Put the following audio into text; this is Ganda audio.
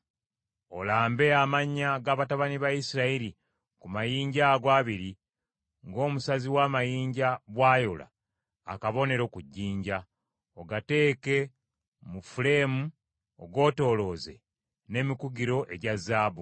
Olambe amannya ga batabani ba Isirayiri ku mayinja ago abiri ng’omusazi w’amayinja bw’ayola akabonero ku jjinja; ogateeke mu fuleemu ogeetoolooze n’emikugiro egya zaabu.